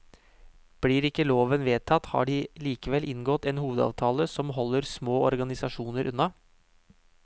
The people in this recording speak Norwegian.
Blir ikke loven vedtatt har de likevel inngått en hovedavtale som holder små organisasjoner unna.